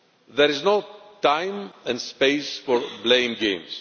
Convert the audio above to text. There is no time and space for blame games.